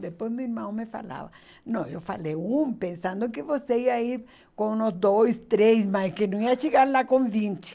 Depois meu irmão me falava, não, eu falei um, pensando que você ia ir com uns dois, três, mas que não ia chegar lá com vinte.